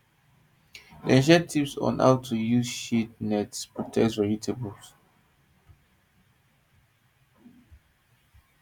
dem share tips on how to use shade nets to protect vegetables